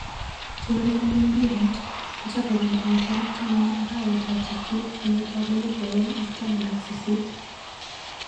Cheurereni mpiret kochopekei eng tarik taman arawet ab sist kenyit ab elipu aeng ak taman ak sisit.